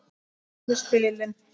Litlu spilin.